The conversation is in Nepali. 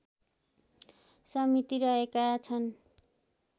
समिति रहेका छन्